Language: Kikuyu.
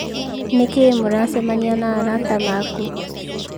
"Nĩkĩĩ mũracemania na arata makuu?"